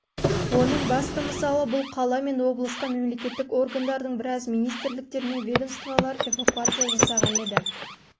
оның басты мысалы бұл қала мен облысқа мемлекеттік органдардың біразы министрліктер мен ведомстволар эвакуация жасалған еді